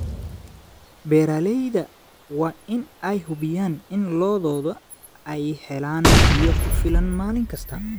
Beeralayda waa in ay hubiyaan in lo'doodu ay helaan biyo ku filan maalin kasta.